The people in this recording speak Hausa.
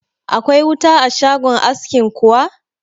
Akwai wuta a shagon askin kuwa?